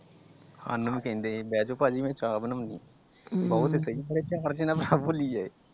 ਸਾਨੂੰ ਵੀ ਕਹਿੰਦੇ ਸੀ ਬਹਿਜੋ ਭਾਜੀ ਮੈ ਚਾਹ ਬਣੋਂਨੀ .